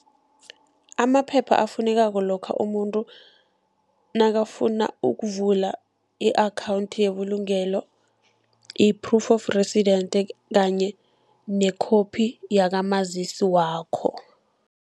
Amaphepha afunekako lokha umuntu nakafuna ukuvula i-akhawunthi yebulugelo yi-proof of residence kanye nekhophi yakamazisi wakho.